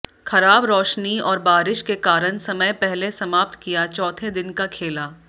खराब रोशनी और बारिश के कारण समय पहले समाप्त किया चौथे दिन का खेला